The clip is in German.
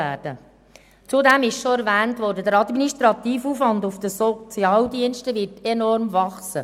Zudem, es wurde bereits erwähnt, würde der administrative Aufwand bei den Sozialdiensten enorm wachsen.